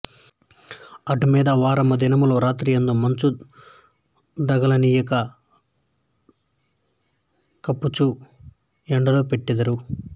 అటు మీద వారము దినములు రాత్రులందు మంచు దగుల నీయక కప్పుచు ఎండలో బెట్టెదరు